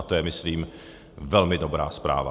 A to je, myslím, velmi dobrá zpráva.